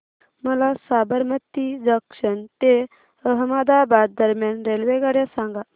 मला साबरमती जंक्शन ते अहमदाबाद दरम्यान रेल्वेगाड्या सांगा